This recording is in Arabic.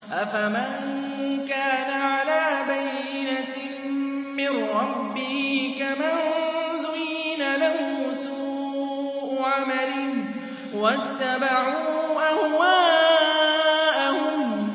أَفَمَن كَانَ عَلَىٰ بَيِّنَةٍ مِّن رَّبِّهِ كَمَن زُيِّنَ لَهُ سُوءُ عَمَلِهِ وَاتَّبَعُوا أَهْوَاءَهُم